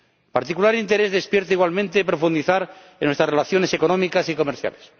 Particular interés despierta igualmente profundizar en nuestras relaciones económicas y comerciales.